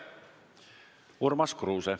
Urmas Kruuse.